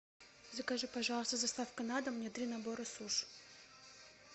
закажи пожалуйста с доставкой на дом мне три набора суш